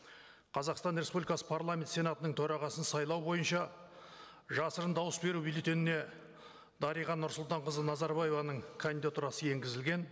қазақстан республикасы парламент сенатының төрағасын сайлау бойынша жасырын дауыс беру бюллетеніне дариға нұрсұлтанқызы назарбаеваның кандидатурасы енгізілген